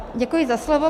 Děkuji za slovo.